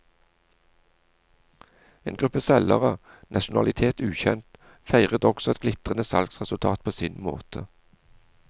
En gruppe selgere, nasjonalitet ukjent, feiret også et glitrende salgsresultat på sin måte.